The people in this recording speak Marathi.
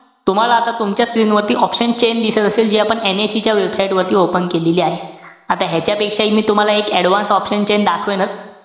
तुम्हाला आता तुमच्या screen वरती option chain दिसत असेल. जी आपण NIC च्या website वरती open केलेली आहे. आता ह्याच्यापेक्षाहि मी तुम्हाला एक advanced option chain दाखवणीच.